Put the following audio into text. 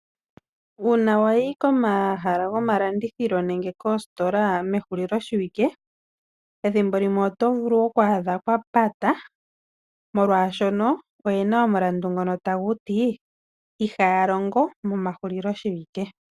Uuna wayi komahala gomalandithilo nenge koostola mehulilo shiwike, ethimbo limwe oto vulu okwaadha kwapata molwashoka oyena omulandu ngono haguti ihaya longo momahulilo shiwike.